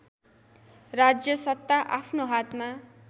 राज्यसत्ता आफ्नो हातमा